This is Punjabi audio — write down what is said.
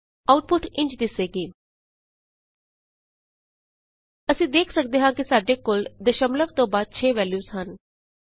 ਆਉਟਪੁਟ ਇੰਝ ਦਿਸੇਗੀ160 ਅਸੀਂ ਦੇਖ ਸਕਦੇ ਹਾਂ ਕਿ ਸਾਡੇ ਕੋਲ ਦਸ਼ਮਲਵ ਤੋਂ ਬਾਅਦ 6 ਵੈਲਯੂਜ਼ ਹਨ